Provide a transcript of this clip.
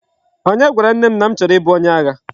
Onye gwara nne m na m choro ibu onye agha?